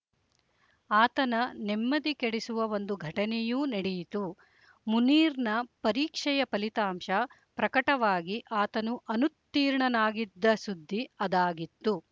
ಆತನ ನೆಮ್ಮದಿ ಕೆಡಿಸುವ ಒಂದು ಘಟನೆಯೂ ನಡೆಯಿತು ಮುನೀರ್‌ನ ಪರೀಕ್ಷೆಯ ಫಲಿತಾಂಶ ಪ್ರಕಟವಾಗಿ ಆತನು ಅನುತ್ತೀರ್ಣನಾಗಿದ್ದ ಸುದ್ದಿ ಅದಾಗಿತ್ತು